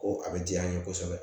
Ko a bɛ diya n ye kosɛbɛ